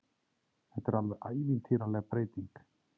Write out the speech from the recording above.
Þetta er alveg ævintýraleg breyting